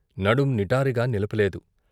నడుం నిటారుగా నిలపలేదు.